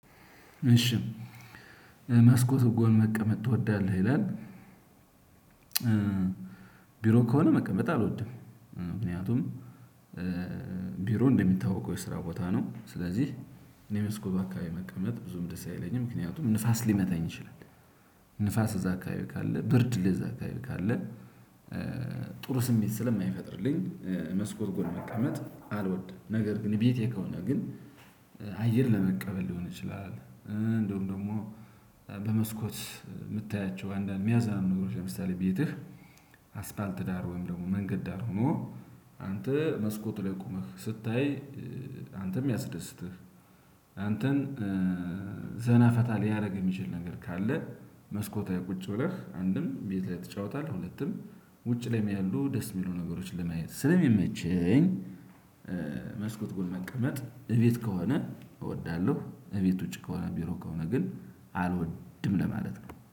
እሺ መስኮት ጎን መቀመጥ ትወዳለህ ይላል? ቢሮ ከሆነ መቀመጥ አልወድም ምክንያቱም ቢሮ እንደሚታወቀው የስራ ቦታ ነው ስለዚህ እኔ መስኮብ አካባቢ መቀመጥ ብዙም ደስ አይለኝም ምክንያቱም ንፋስ ሊመታኝ ይችላል። ንፋስ እዛ አካባቢ ካለ ብርድ እዛ አካባቢ ካለ ጥሩ ስሜት ስለማይፈጥርልኝ መስኮት ጎን መቀመጥ አልወድም። ነገር ግን ቤቴ ከሆነ ግን አየር ለመቀበል ሊሆን ይችላል። እንደውም ደግሞ በመስኮት የምታያቸው አንዳንድ ሚያዝናኑ ነገሮች ለምሳሌ ቤትህ አስፋልት ዳር ወይም ደግሞ መንገድ ዳር ሆኖ አንተ መስኮት ላይ ቆመህ ስታይ አንተ የሚያስደስትህ አንተን ዘና ፈታ ሊያደርግ የሚችል ነገር ካለ መስኮት ላይ ቁጭ ብለህ አንድም ቤት ላይ ትጫወታለህ ሁለቱም ውጭ ላይም ያሉ ደስ የሚሉ ነገሮች ለማየት ስለሚመቸኝ። መስኮት ጎን መቀመጥ እቤት ከሆነ እወዳለሁ። እቤት ውጪ ከሆነ ቢሮ ከሆነ ግን አልወድም ለማለት ነው